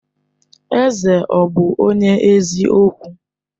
Eze ọ̀ bụ onye eziokwu?